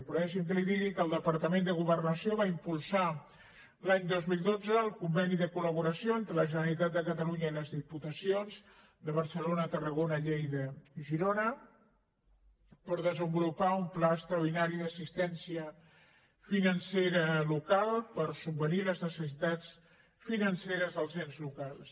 però deixi’m que li digui que el departament de governació va impulsar l’any dos mil dotze el conveni de col·catalunya i les diputacions de barcelona tarragona lleida i girona per desenvolupar un pla extraordinari d’assistència financera local per subvenir les necessitats financeres dels ens locals